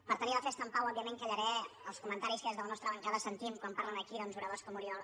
per tenir la festa en pau òbviament callaré els comentaris que des de la nostra bancada sentim quan parlen aquí oradors com oriol